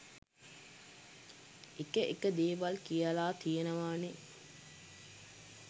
එක එක දේවල් කියලා තියෙනවානේ.